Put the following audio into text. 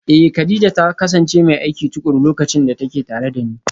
Eh, Kadija ta kasance mai aiki tukuru lokacin da take tare da ni